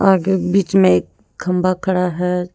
आगे बीच में एक खंभा खड़ा है।